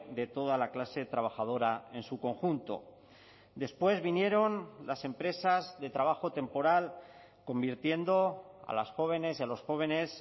de toda la clase trabajadora en su conjunto después vinieron las empresas de trabajo temporal convirtiendo a las jóvenes y a los jóvenes